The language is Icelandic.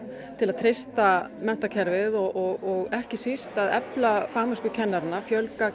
til að treysta menntakerfið og ekki síst að efla fagmennsku kennaranna fjölga